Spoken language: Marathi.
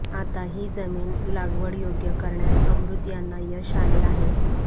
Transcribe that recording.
आता ही जमीन लागवडयोग्य करण्यात अमृत यांना यश आले आहे